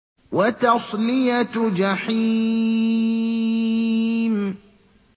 وَتَصْلِيَةُ جَحِيمٍ